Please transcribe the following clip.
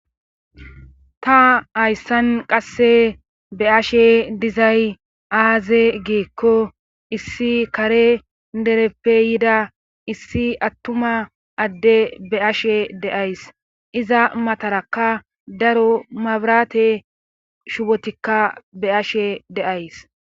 ta hayssan qasse be'ashe dizay aaze geekko issi kare dereppe yida issi attuma adde be'ashe de'ays iza matarakka daro mabirate shubotikka be'ashe de'ays